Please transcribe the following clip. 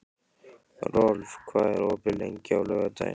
Rolf, hvað er opið lengi á laugardaginn?